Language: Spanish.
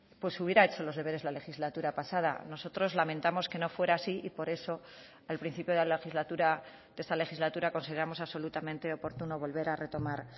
pues hubiera hecho los deberes la legislatura pasada nosotros lamentamos que no fuera así y por eso al principio de la legislatura de esta legislatura consideramos absolutamente oportuno volver a retomar